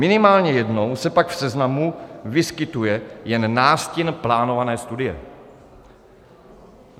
Minimálně jednou se pak v seznamu vyskytuje jen nástin plánované studie.